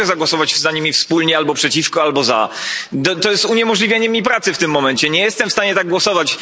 I nie mogę zagłosować za nimi wspólnie, albo przeciwko, albo za. To jest uniemożliwienie mi pracy w tym momencie, nie jestem w stanie tak głosować.